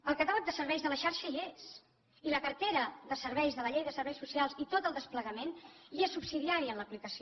el catàleg de serveis de la xarxa hi és i la cartera de serveis de la llei de serveis socials i tot el desplegament i és subsidiari en l’aplicació